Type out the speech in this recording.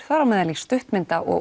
þar á meðal í stuttmynda og